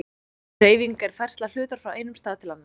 Hreyfing er færsla hlutar frá einum stað til annars.